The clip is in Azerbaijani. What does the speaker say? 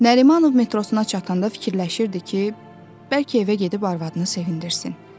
Nərimanov metrosuna çatanda fikirləşirdi ki, bəlkə evə gedib arvadını sevindirsin.